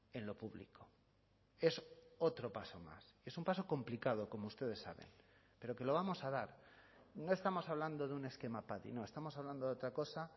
en lo público es otro paso más es un paso complicado como ustedes saben pero que lo vamos a dar no estamos hablando de un esquema padi no estamos hablando de otra cosa